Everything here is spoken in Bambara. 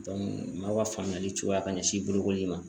dɔnku maaw ka faamuyali cogoya ka ɲɛsin bolokoli ma